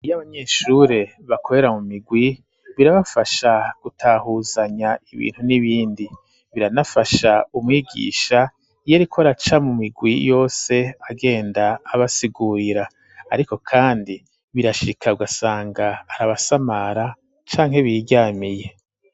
Iyo abanyeshure bakorera mu migwi birabafasha gutahuzanya ibintu n'ibindi biranafasha umwigisha iyeriko araca mu migwi yose agenda abasigurira, ariko, kandi birashikawasanga arabasamara canke biryamiye.